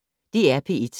DR P1